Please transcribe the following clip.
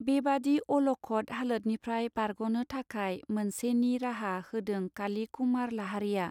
बेबादि अल खद हालोदनिफ्राय बारग नो थाखाय मोनसे निराहा होदों काली कुमार लाहारिया.